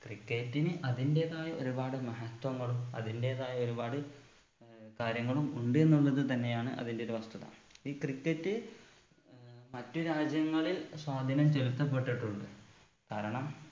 cricket ന് അതിന്റെതായ ഒരുപാട് മഹത്വങ്ങളും അതിന്റെതായ ഒരുപാട് ഏർ കാര്യങ്ങളും ഉണ്ട് എന്നുള്ളത് തന്നെയാണ് അതിന്റെ ഒരു വസ്തുത ഈ cricket ഏർ മറ്റു രാജ്യങ്ങളിൽ സ്വാധീനം ചെലുത്തപ്പെട്ടിട്ടുണ്ട് കാരണം